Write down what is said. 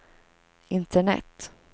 internet